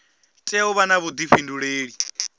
tea u vha na vhuḓifhinduleli